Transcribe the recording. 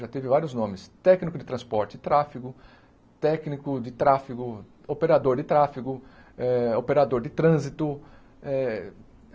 já teve vários nomes, técnico de transporte e tráfego, técnico de tráfego, operador de tráfego, eh operador de trânsito eh.